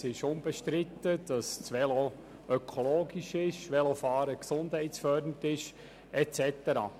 Es ist unbestritten, dass das Velo ökologisch und Velofahren gesundheitsfördernd ist und so weiter.